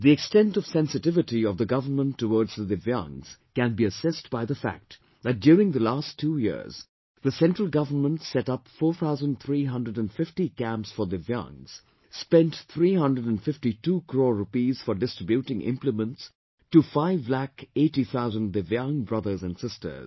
The extent of sensitivity of the government towards the Divyaangs can be assessed by the fact that during the last two years, the central government set up 4350 camps for Divyaangs, spent 352 crore rupees for distributing implements to 5,80,000 Divyaang brothers and sisters